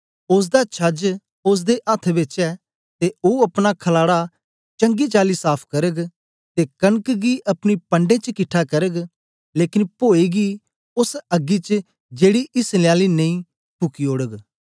ओसदा छज ओसदे अथ्थ बेच ऐ ते ओ अपना खलाडा चंगी चाली साफ करग ते कनक गी अपनी पंढे च किट्ठा करग लेकन पोए गी ओस अग्गी च जेड़ी इस्लने आली नेई फुकी ओड़ग